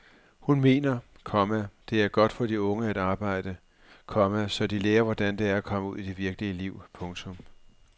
Hun mener, komma det er godt for de unge at arbejde, komma så de lærer hvordan det er at komme ud i det virkelige liv. punktum